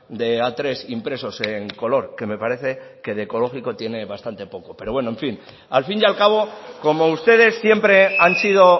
de a tres impresos en color que me parece que de ecológico tiene bastante poco pero bueno en fin al fin y al cabo como ustedes siempre han sido